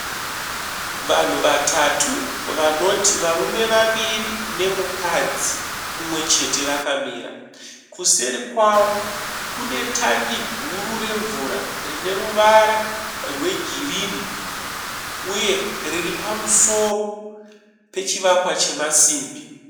Vanhu vatatu vanoti varume vaviri nemukadzi mumwe chete vakamira. Kuseri kwavo kune tangi guru remvura rineruvara rwegirini uye riri pamusoro pechivakwa chemasimbi.